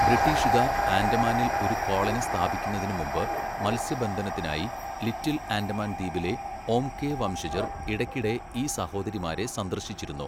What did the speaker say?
ബ്രിട്ടീഷുകാർ ആൻഡമാനിൽ ഒരു കോളനി സ്ഥാപിക്കുന്നതിന് മുമ്പ്, മത്സ്യബന്ധനത്തിനായി ലിറ്റിൽ ആൻഡമാൻ ദ്വീപിലെ ഓംഗെ വംശജർ ഇടയ്ക്കിടെ ഈ സഹോദരിമാരെ സന്ദർശിച്ചിരുന്നു.